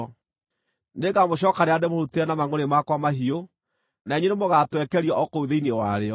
Nĩngamũcookanĩrĩria na ndĩmũhurutĩre na mangʼũrĩ makwa mahiũ, na inyuĩ nĩmũgatwekerio o kũu thĩinĩ warĩo.